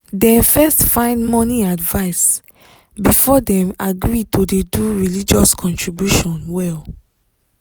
dem first find money advice before dem agree to dey do religious contribution well